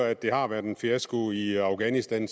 at det har været en fiasko i afghanistan